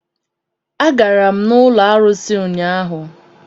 Agara m n'ụlọ arụsị ụnyaahụ.